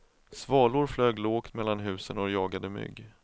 Svalor flög lågt mellan husen och jagade mygg.